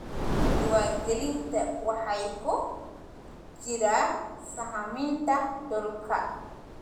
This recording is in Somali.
Diiwaangelinta waxaa ku jira sahaminta dhulka.